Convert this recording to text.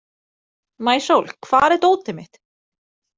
Maísól, hvar er dótið mitt?